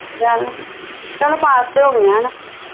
ਚੱਲ ਪਾਸ ਤੇ ਹੋਗੀਆ ਆ ਨਾ